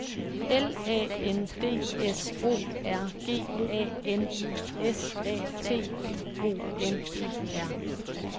L A N D S O R G A N I S A T I O N E R